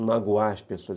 magoar as pessoas.